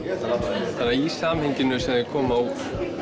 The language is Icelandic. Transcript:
þannig að í samhenginu sem þau koma úr